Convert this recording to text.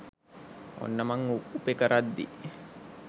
ඔන්න මං උපෙ කරද්දි